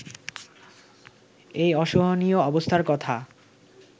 এই অসহনীয় অবস্থার কথা